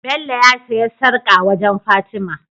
Bello ya siya sarƙa wajan fatima